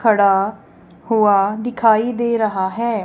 खड़ा हुआ दिखाई दे रहा है।